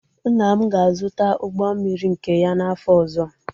Nna m ga-azụta ụgbọ mmiri nke ya n'afọ ọzọ.